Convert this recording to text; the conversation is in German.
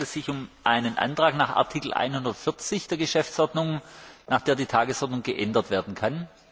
Es handelte sich um einen Antrag gemäß Artikel 140 der Geschäftsordnung, nach dem die Tagesordnung geändert werden kann.